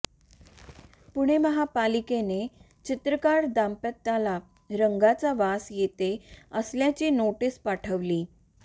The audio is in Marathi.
पुणे महापालिकेने चित्रकार दाम्पत्याला रंगांचा वास येत असल्याची नोटीस पाठवली